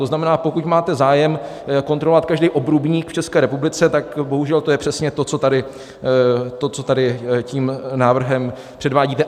To znamená, pokud máte zájem kontrolovat každý obrubník v České republice, tak bohužel to je přesně to, co tady tím návrhem předvádíte.